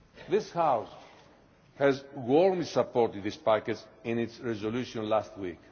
This House warmly supported this package in its resolution last week.